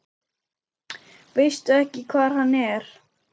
Veistu ekki hvar hann er?